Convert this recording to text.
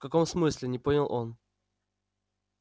в каком смысле не понял он